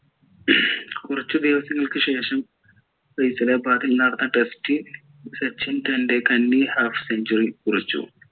കുറച്ചു ദിവസങ്ങൾക് ശേഷം നടന്ന test ൽ സച്ചിൻ തൻ്റെ കന്നി half century കുറിച്ചു